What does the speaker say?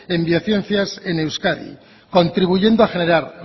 en biociencias en euskadi contribuyendo a generar